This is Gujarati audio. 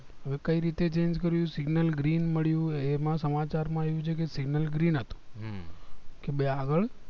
હવે કઈ રીતે change કર્યું signal green મળ્યું એ એમાં સમાચાર માં આવ્યું છે કે signal green હતું કે બે આગળ